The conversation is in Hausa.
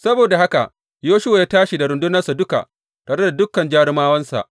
Saboda haka Yoshuwa ya tashi da rundunarsa duka, tare da dukan jarumawansa.